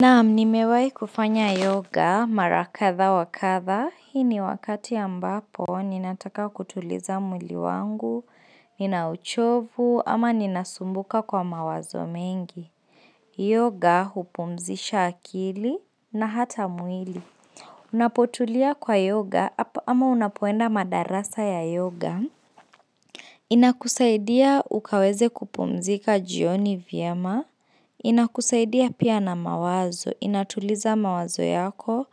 Naam, nimewai kufanya yoga marakadha wakadha, hii ni wakati ambapo, ninataka kutuliza mwili wangu, nina uchovu, ama ninasumbuka kwa mawazo mengi. Yoga hupumzisha akili na hata mwili. Napotulia kwa yoga, ama unapoenda madarasa ya yoga. Inakusaidia ukaweze kupumzika jioni vyema. Inakusaidia pia na mawazo, inatuliza mawazo yako